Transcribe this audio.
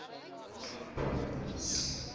ander vaste bates